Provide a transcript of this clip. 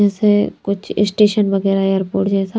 जैसे कुछ स्टेशन वगैरह एयरपोर्ट जैसा--